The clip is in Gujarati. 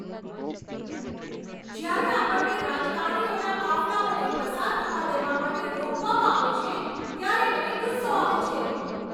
જ્યારે આપણને રાજકારણીઓના કાફલાઓને પસાર થવા દેવા માટે રોકવામાં આવે છે ત્યારે મને ગુસ્સો આવે છે.